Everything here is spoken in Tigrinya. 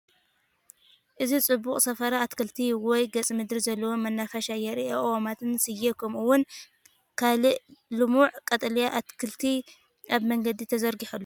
እዚ ጽቡቕ ስፍራ ኣታኽልቲ ወይ ገጸ-ምድሪ ዘለዎ መናፈሻ የርኢ ።ኣእዋማትን ስየ ከምኡውን ካልእ ልሙዕ ቀጠልያ ኣትክልቲ ኣብ መገዲ ተዘርጊሑ ኣሎ።